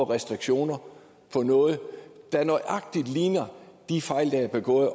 restriktioner om noget der nøjagtig ligner de fejl der er begået